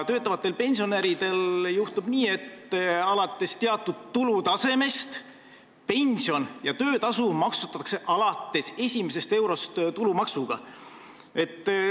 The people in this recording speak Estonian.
Töötavatel pensionäridel on nii, et alates teatud tulutasemest pension ja töötasu maksustatakse alates esimesest eurost tulumaksuga.